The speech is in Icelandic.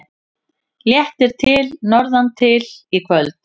Léttir til norðantil í kvöld